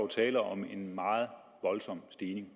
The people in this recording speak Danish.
tale om en meget voldsom stigning